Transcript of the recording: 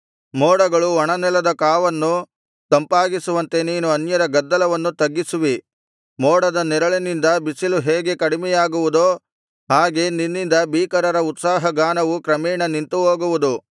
ಮೋಡಗಳು ಒಣನೆಲದ ಕಾವನ್ನು ತಂಪಾಗಿಸುವಂತೆ ನೀನು ಅನ್ಯರ ಗದ್ದಲವನ್ನು ತಗ್ಗಿಸುವಿ ಮೋಡದ ನೆರಳಿನಿಂದ ಬಿಸಿಲು ಹೇಗೆ ಕಡಿಮೆಯಾಗುವುದೋ ಹಾಗೆ ನಿನ್ನಿಂದ ಭೀಕರರ ಉತ್ಸಾಹ ಗಾನವು ಕ್ರಮೇಣ ನಿಂತುಹೋಗುವುದು